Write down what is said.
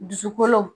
Dusukolo